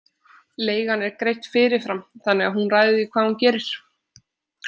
Leigan er greidd fyrirfram þannig að hún ræður því hvað hún gerir.